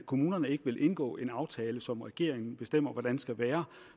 kommunerne ikke vil indgå en aftale som regeringen bestemmer hvordan skal være